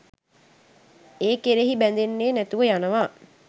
ඒ කෙරෙහි බැඳෙන්නෙ නැතිව යනවා.